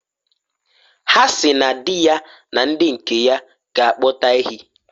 Ha si na di ya na ndi nke ya ga akpụta ehi.